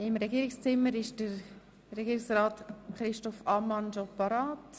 Im Regierungszimmer ist Regierungsrat Christoph Ammann schon bereit.